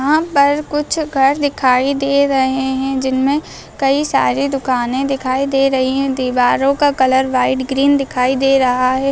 यहाँ पर कुछ घर दिखाई दे रहे हैं जिनमें कई सारे दुकान दिखाई दे रही है दीवारों का कलर वाइट ग्रीन दिखाई दे रहा है|